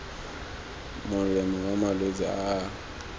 molemo wa malwetse a a